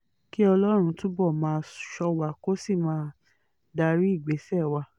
kí ọlọ́run túbọ̀ máa ṣọ́ wa kí ó sì máa darí ìgbésẹ̀ wa